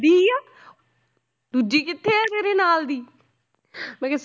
ਦੂਜੀ ਕਿੱਥੇ ਆ ਤੇਰੇ ਨਾਲ ਦੀ ਮੈਂ ਕਿਹਾ